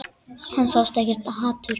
Hann sá ekkert hatur.